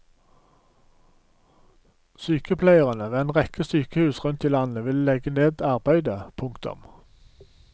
Sykepleiere ved en rekke sykehus rundt i landet vil legge ned arbeidet. punktum